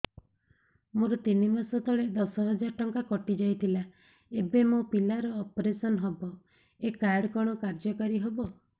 ମୋର ତିନି ମାସ ତଳେ ଦଶ ହଜାର ଟଙ୍କା କଟି ଯାଇଥିଲା ଏବେ ମୋ ପିଲା ର ଅପେରସନ ହବ ଏ କାର୍ଡ କଣ କାର୍ଯ୍ୟ କାରି ହବ